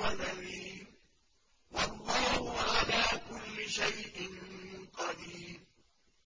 وَنَذِيرٌ ۗ وَاللَّهُ عَلَىٰ كُلِّ شَيْءٍ قَدِيرٌ